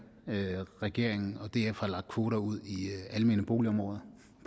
regeringen og df har lagt kvoter ud i almene boligområder